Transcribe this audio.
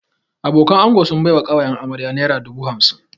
Abokanan ango sun bai wa ƙawayen amarya naira dubu hamsin